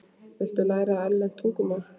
Viltu læra erlent tungumál?